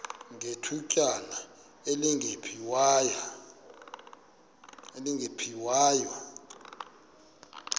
ngethutyana elingephi waya